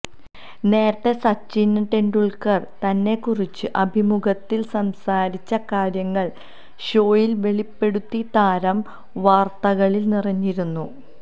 നേരത്തെ സച്ചിന് ടെണ്ടുല്ക്കര് തന്നെക്കുറിച്ച് അഭിമുഖത്തില് സംസാരിച്ച കാര്യങ്ങള് ഷോയില് വെളിപ്പെടുത്തി താരം വാര്ത്തകളില് നിറഞ്ഞിരുന്നു